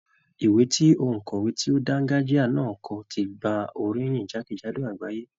Ìwé tí òǹkọ̀wé tí ó dángájíá na kọ ti gba oríyìn jákèjádò àgbáyé.